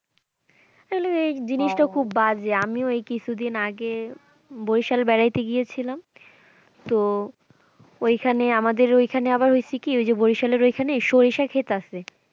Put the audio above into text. তাহলে এই জিনিসটা খুব বাজে আমি ওই কিছুদিন আগে বরিশাল বেড়াইতে গিয়েছিলাম তো ওইখানে আমাদের ওইখানে আবার হয়েছে কি ওই যে বরিশালের ওইখানে সরিষা ক্ষেত আছে।